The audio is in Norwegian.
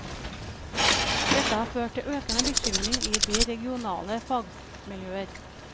Dette har ført til økende bekymring i de regionale fagmiljøer.